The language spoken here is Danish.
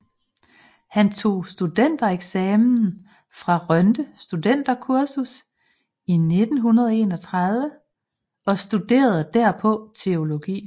Han tog studentereksamen fra Rønde Studenterkursus i 1931 og studerede derpå teologi